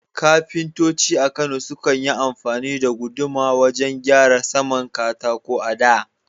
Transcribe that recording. Kafintoci a Kano sukan yi amfani da guduma wajen gyara saman katako a da.